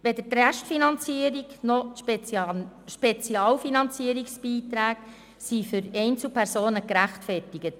Weder die Restfinanzierung noch die Spezialfinanzierungsbeiträge sind für Einzelpersonen gerechtfertigt.